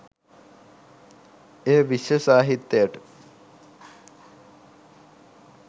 එය විශ්ව සාහිත්‍යයට